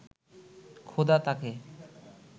খোদা তাঁকে